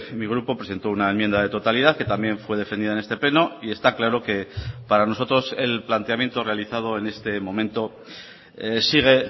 mi grupo presentó una enmienda de totalidad que también fue defendida en este pleno y está claro que para nosotros el planteamiento realizado en este momento sigue